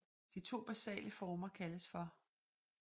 De to basale former kaldes hhv